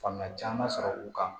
Faamuya caman sɔrɔ u kan